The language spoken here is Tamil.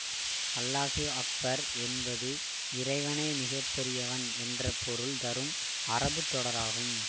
அல்லாஹு அக்பர் என்பது இறைவனே மிக பெரியவன் என்ற பொருள் தரும் அரபுத் தொடராகும்